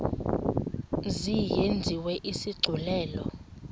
mzi yenziwe isigculelo